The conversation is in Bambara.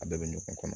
A bɛɛ bɛ ɲɔgɔn kɔnɔ